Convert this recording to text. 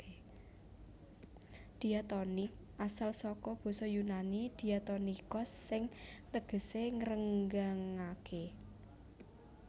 Diatonik asal saka basa Yunani diatonikos sing tegesé ngrenggangaké